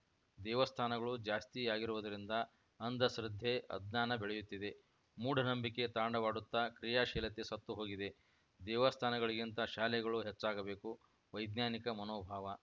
ದೇವಸ್ಥಾನಗಳು ಜಾಸ್ತಿಯಾಗಿರುವುದರಿಂದ ಅಂಧಶ್ರದ್ದೆ ಅಜ್ಞಾನ ಬೆಳೆಯುತ್ತಿದೆ ಮೂಢನಂಬಿಕೆ ತಾಂಡವವಾಡುತ್ತ ಕ್ರಿಯಾಶೀಲತೆ ಸತ್ತುಹೋಗಿದೆ ದೇವಸ್ಥಾನಗಳಿಗಿಂತ ಶಾಲೆಗಳು ಹೆಚ್ಚಾಗಬೇಕು ವೈಜ್ಞಾನಿಕ ಮನೋಭಾವ